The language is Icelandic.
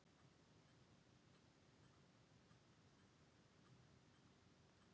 Annaðhvort er ég hrifinn eða ekki hrifinn.